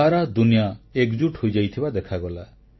ସାରା ଦୁନିଆ ଏକଜୁଟ୍ ହୋଇଯାଇଥିବା ଦେଖାଗଲା